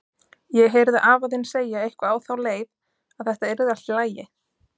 Ég heyrði afa þinn segja eitthvað á þá leið, að þetta yrði allt í lagi.